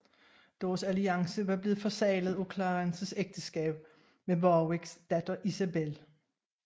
Deres alliance var blevet forseglet af Clarences ægteskab med Warwicks datter Isabel